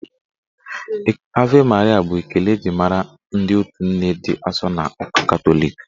"Ave Maria" bụ ekele eji mara ndị otu Nne dị asọ n'ụka Katọlik.